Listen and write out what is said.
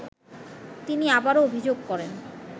তিনি আবারও অভিযোগ করেন